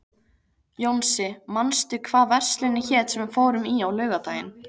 Jónsi, manstu hvað verslunin hét sem við fórum í á laugardaginn?